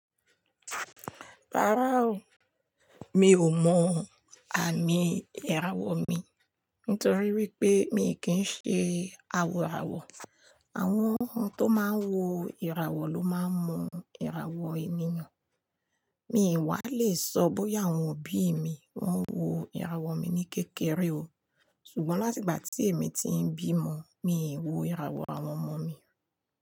Rárá o, mi ò mọ àmì ìràwọ̀ mi. Nítorí wípé mi kì ń ṣe aworàwọ̀. Àwọn ohun tó máa ń wo ìràwọ̀ ló máa ń mọ ìràwọ̀ ẹniyan. Mi wà á lè sọ bóyá àwọn òbí mi wọ́n ń wo ìràwọ̀ mi ní kékeré o. Ṣùgbọ́n láti ìgbà tí èmi ti ń bímọ, mi ò wo ìràwọ̀ àwọn ọmọ mi.